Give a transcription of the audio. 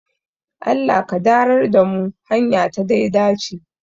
Allah ka darar da mu hanya ta daidaci